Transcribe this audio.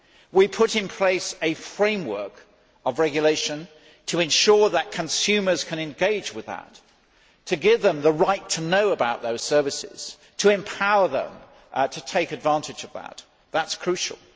We put in place a framework of regulation to ensure that consumers can engage with that, to give them the right to know about those services, to empower them to take advantage of that that is crucial.